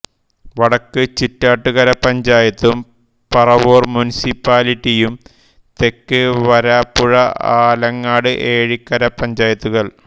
വടക്ക് ചിറ്റാറ്റുകര പഞ്ചായത്തും പറവൂർ മുനിസിപ്പാലിറ്റിയും തെക്ക് വരാപ്പുഴ ആലങ്ങാട് ഏഴിക്കര പഞ്ചായത്തുകൾ